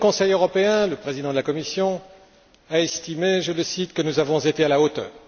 Au dernier Conseil européen, le président de la Commission a estimé, je le cite que nous avons été à la hauteur.